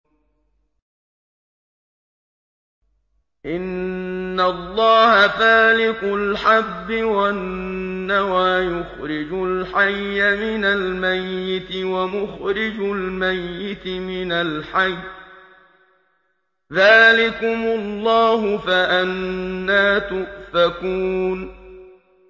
۞ إِنَّ اللَّهَ فَالِقُ الْحَبِّ وَالنَّوَىٰ ۖ يُخْرِجُ الْحَيَّ مِنَ الْمَيِّتِ وَمُخْرِجُ الْمَيِّتِ مِنَ الْحَيِّ ۚ ذَٰلِكُمُ اللَّهُ ۖ فَأَنَّىٰ تُؤْفَكُونَ